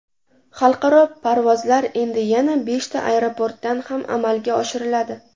Xalqaro parvozlar endi yana beshta aeroportdan ham amalga oshiriladi.